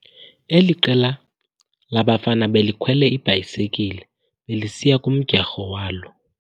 Eli qela labafana belikhwele iibhayisikile belisiya kumdyarho walo.